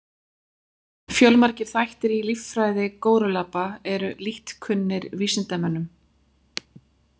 Fjölmargir þættir í líffræði górilluapa eru lítt kunnir vísindamönnum.